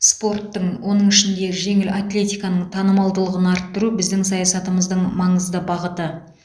спорттың оның ішінде жеңіл атлетиканың танымалдылығын арттыру біздің саясатымыздың маңызды бағыты